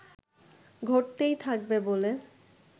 ঘটতেই থাকবে বলে